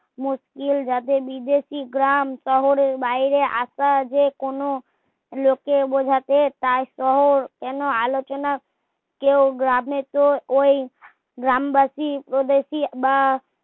মুশকিল যাতে বিদেশি গ্রাম শহর ও বাইরে আসা যে কোনো লোকে বোঝাতে তাই শহর কেনো আলোচনায় কেউ গ্রামে তো ওই গ্রামবাসী উপদেশি বা